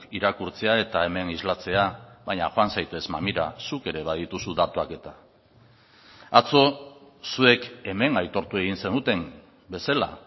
irakurtzea eta hemen islatzea baina joan zaitez mamira zuk ere badituzu datuak eta atzo zuek hemen aitortu egin zenuten bezala